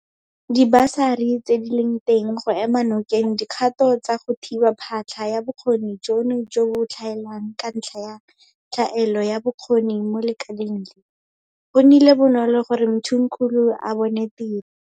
Dibasari tse di leng teng go ema nokeng dikgato tsa go thiba phatlha ya bokgoni jono jo bo tlhaelang Ka ntlha ya tlhaelo ya bokgoni mo lekaleng le, go nnile bonolo gore Mthimkhulu a bone tiro.